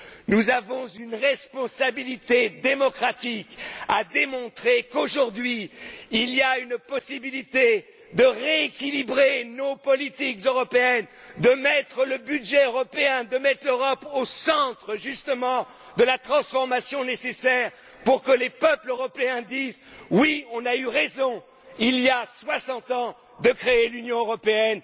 Nous avons une responsabilité démocratique de démontrer qu'aujourd'hui, il y a une possibilité de rééquilibrer nos politiques européennes, de mettre le budget européen, de mettre l'Europe au centre, justement, de la transformation nécessaire, pour que les peuples européens disent Oui, on a eu raison, il y a soixante ans, de créer l'Union européenne.